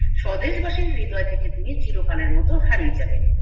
স্বদেশ বাসীর হৃদয় থেকে তিনিই চিরকালের মতো হারিয়ে যাবেন